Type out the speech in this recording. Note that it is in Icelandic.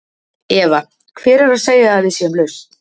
Eva: Hver er að segja að við séum lausn?